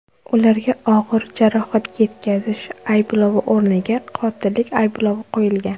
Ularga og‘ir jarohat yetkazish ayblovi o‘rniga qotillik ayblovi qo‘yilgan.